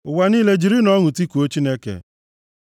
Ụwa niile, jirinụ ọṅụ tikuo Chineke!